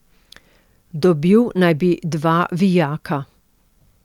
Dobil naj bi dva vijaka.